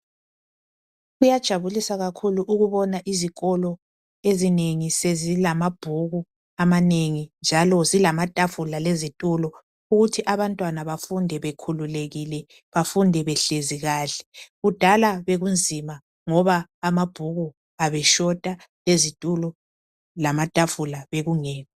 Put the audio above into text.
Kuyajabulisa kakhulu ukubona izikolo ezinengi sezilamabhuku amanengi njalo zilamatafula lezitulo ukuthi abantwana bafunde bekhulekile bafunde behlezi kahle kudala bekunzima ngoba amabhuku abeshota amabhuku lamatafula bekungekho